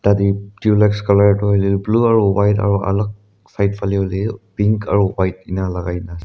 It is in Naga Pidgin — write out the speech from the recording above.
Tate dulux colour toh hoila toh blue aro white aro alak side phale hoile pink aro white ena lagai na ase.